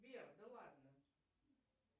сбер да ладно